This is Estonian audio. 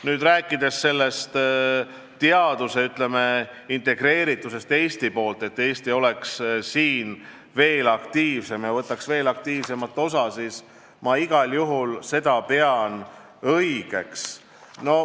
Nüüd, kui rääkida teaduse integreeritusest Eestiga seoses, siis seda, et Eesti oleks selles valdkonnas veel aktiivsem, võtaks veel aktiivsemalt kõigest osa, ma igal juhul pean õigeks.